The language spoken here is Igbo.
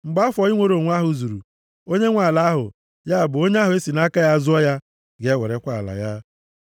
Mgbe afọ inwere onwe ahụ zuru, onye nwe ala ahụ, ya bụ onye ahụ e si nʼaka ya zụọ ya, ga-ewerekwa ala ya.